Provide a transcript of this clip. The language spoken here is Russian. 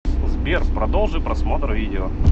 сбер продолжи просмотр видео